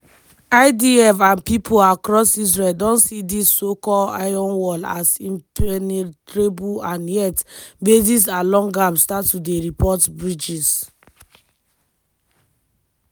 but e bin no see any serious tin so e bin tink say na drill.